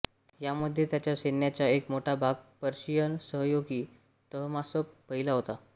यामध्ये त्याच्या सैन्याचा एक मोठा भाग पर्शियन सहयोगी तहमासप पहिला होता